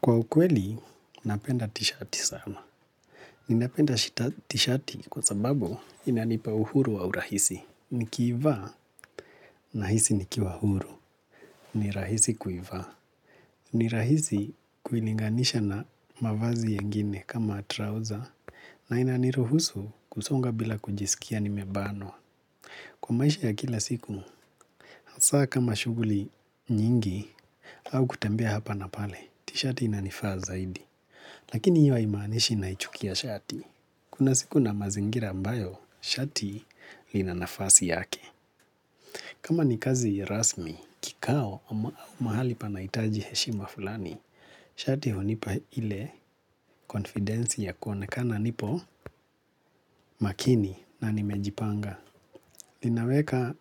Kwa ukweli, napenda t-shirti sana. Ninapenda t-shirti kwa sababu inanipa uhuru wa urahisi. Nikiivaa, nahisi nikiwa huru. Ni rahisi kuivaa. Ni rahisi kuilinganisha na mavazi yengine kama trouser na inaniruhusu kusonga bila kujisikia nimebanwa. Kwa maisha ya kila siku, saa kama shughuli nyingi au kutembea hapa na pale, t-shirti inanifaa zaidi. Lakini hiyo haimaanishi naichukia shati. Kuna siku na mazingira ambayo shati lina nafasi yake. Kama ni kazi rasmi, kikao ama mahali panahitaji heshima fulani, shati hunipa ile konfidensi ya kuonekana nipo makini na nimejipanga. Linaweka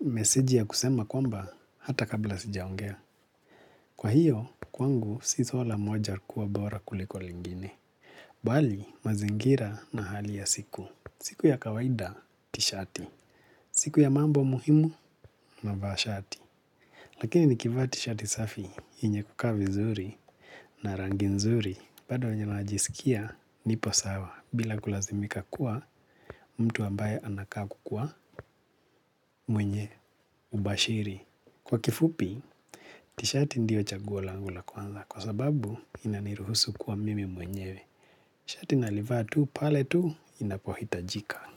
mesiji ya kusema kwamba hata kabla sijaongea. Kwa hiyo, kwangu si zola moja kuwa bora kuliko lingine. Bali, mazingira na hali ya siku. Siku ya kawaida, tishati. Siku ya mambo muhimu, navaa shati. Lakini nikivaa tishati safi, yenye kukaa vizuri na rangi nzuri. Bado venye najisikia, nipo sawa. Bila kulazimika kuwa, mtu ambaye anakaa kukuwa mwenye ubashiri. Kwa kifupi, tishati ndio chaguo langu la kwanza kwa sababu inaniruhusu kuwa mimi mwenyewe. Shati nalivaa tu, pale tu, inapohitajika.